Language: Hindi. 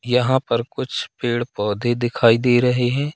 यहां पर कुछ पेड़ पौधे दिखाई दे रहे हैं।